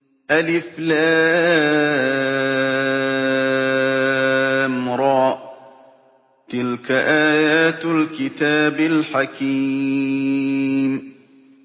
الر ۚ تِلْكَ آيَاتُ الْكِتَابِ الْحَكِيمِ